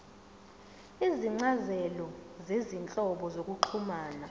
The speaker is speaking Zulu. izincazelo zezinhlobo zokuxhumana